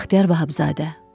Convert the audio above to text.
Vəxtiyar Vahabzadə.